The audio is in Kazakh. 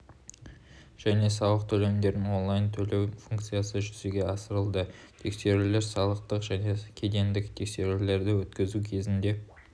және салық төлемдерін онлайн төлеу функциясы жүзеге асырылды тексерулер салықтық және кедендік тексерулерді өткізу кезінде